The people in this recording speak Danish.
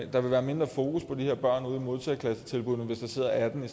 der vil være mindre fokus på de her børn ude i modtageklassetilbuddene hvis der sidder atten i